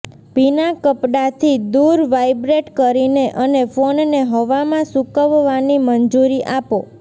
ભીના કપડાથી દૂર વાઇબ્રેટ કરીને અને ફોનને હવામાં સૂકવવાની મંજૂરી આપો